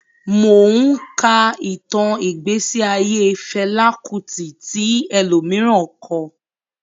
Mò ún ka ìtàn ìgbésí ayé Fẹlá Kútì tí ẹlòmíràn kọ